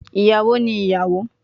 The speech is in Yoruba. Iyawo ni iyawo